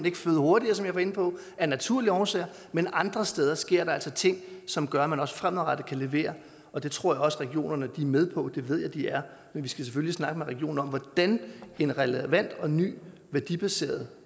ikke føde hurtigere som jeg var inde på af naturlige årsager men andre steder sker der altså ting som gør at man også fremadrettet kan levere og det tror jeg også regionerne er med på det ved jeg de er men vi skal selvfølgelig snakke med regionerne om hvordan en relevant og ny værdibaseret